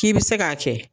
K'i bɛ se k'a kɛ